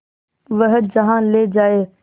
वह जहाँ ले जाए